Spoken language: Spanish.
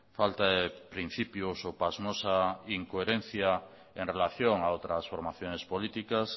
falta de principios o pasmosa incoherencia en relación a otras formaciones políticas